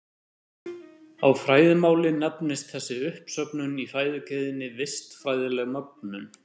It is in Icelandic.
Á fræðimáli nefnist þessi uppsöfnun í fæðukeðjunni vistfræðileg mögnun.